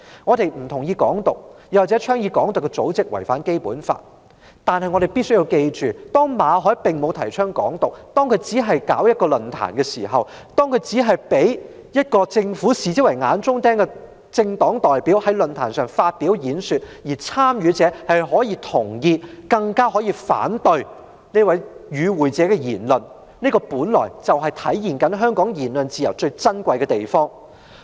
我們不同意"港獨"，也認為倡議"港獨"的組織違反《基本法》，但必須緊記的是，馬凱並沒有提倡"港獨"，他只是舉辦了論壇，他只是容許被政府視為眼中釘的政黨代表在論壇上發表演說，參與者可以同意或反對這位政黨代表的言論，這體現了香港言論自由最珍貴之處。